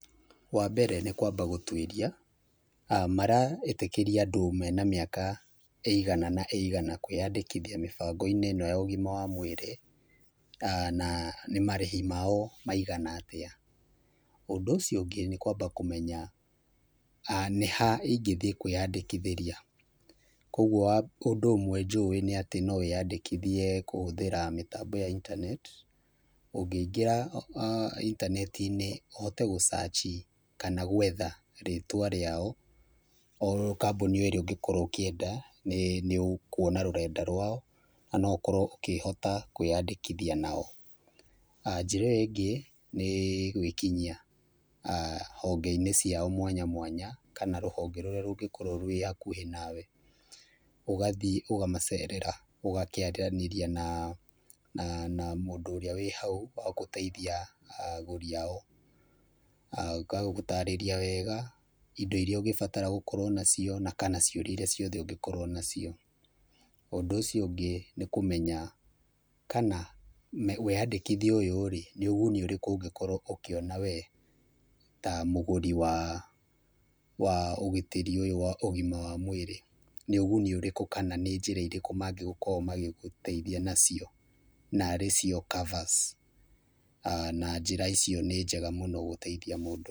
Wambere nĩ kwamba gũtuĩria maraĩtĩkĩria andũ mena mĩaka ĩigana na ĩigana kwĩyandĩkithia mĩbango-inĩ ĩno ya ũgima wa mwĩrĩ, na nĩ marĩhi mao maigana atĩa. Ũndũ ũcio ũngĩ nĩ kwamba kũmenya nĩ ha ingĩthiĩ kwĩyandĩkithĩria. Kuoguo wa undũ ũmwe njũĩ nĩ atĩ no wĩyandĩkithie kũhũthĩra mĩtambo ya internet, ũgĩingĩra intaneti-inĩ ũhote gũ search i kana gwetha rĩtwa rĩao o kambũni ĩrĩa ũngĩkorwo ũkĩenda nĩĩ, nĩ ũkuona rũrenda rwao na no ũkorwo ũkĩhota kwĩyandĩkithia nao. Njĩra ĩyo ĩngĩ nĩ gwĩkinyia honge-inĩ ciao mwanya mwanya, kana rũhonge rũrĩa rũngĩkorwo rwĩ hakuhĩ nawe. Ũgathiĩ ũgamacerera ũgakĩaranĩria naa na na mũndũ ũrĩa wĩ hau wa gũteitia agũri ao. Agagũtarĩria wega indo iria ũngĩbatara gũkorwo nacio, na kana ciũria iria ciothe ũngĩkorwo nacio. Ũndũ ũcio ũngĩ nĩ kũmenya kana wĩyandĩkithia ũyũ-rĩ, nĩ ũguni ũrĩkũ ũngĩkorwo ũkĩona wee ta mũgũri wa wa ũgitĩri ũyũ wa ũgima wa mwĩrĩ. Nĩ ũguni ũrĩkũ kana nĩ njĩra irĩkũ mangĩgũkorwo magĩgũteithia nacio, na arĩcio covers na njĩra icio nĩ njega mũno gũteithia mũndũ.